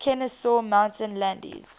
kenesaw mountain landis